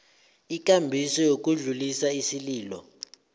ikambiso yokudlulisa isililo